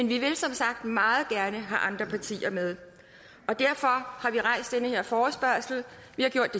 vi vil som sagt meget gerne have andre partier med og derfor har vi har stillet forespørgslen